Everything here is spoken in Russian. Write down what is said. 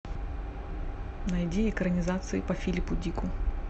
найди экранизации по филипу дику